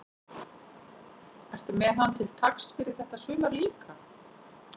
Ertu með hann til taks fyrir þetta sumar líka?